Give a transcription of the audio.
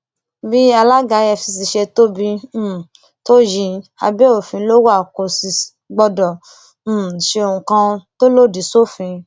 bí alága efcc ṣe tóbi um tó yìí abẹ òfin ló wà kò sì gbọdọ um ṣe ohun kan tó lòdì sófin